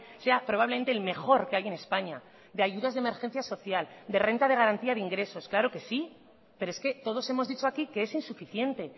sea probablemente el mejor que hay en españa de ayudas de emergencia social de renta de garantía de ingresos claro que sí pero es que todos hemos dicho aquí que es insuficiente